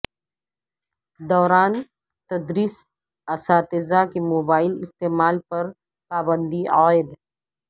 دوران تدریس اساتذہ کے موبائل استعمال پر پابندی عائد